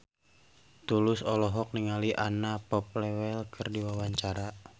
Tulus olohok ningali Anna Popplewell keur diwawancara